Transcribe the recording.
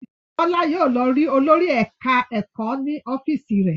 Bọ́lá yóò lọ rí olórí ẹ̀ka-ẹ̀kọ́ ní ọ́fíísì rẹ̀.